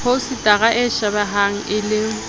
phousetara e shebehe e le